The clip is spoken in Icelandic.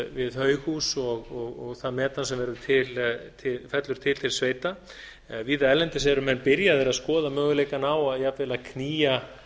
við haughús og það metan sem fellur til til sveita víða erlendis eru menn byrjaðir að skoða möguleikann á jafnvel